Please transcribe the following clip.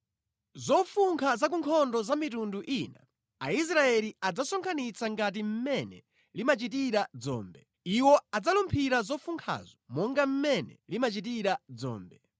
Zofunkha za ku nkhondo za mitundu ina Aisraeli adzazisonkhanitsa ngati mmene limachitira dzombe. Iwo adzalumphira zofunkhazo monga mmene limachitira dzombe.